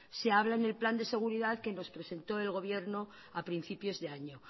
se habla en el plan de seguridad que nos presentó el gobierno a principios de año